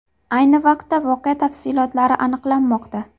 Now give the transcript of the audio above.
Ayni paytda voqea tafsilotlari aniqlanmoqda.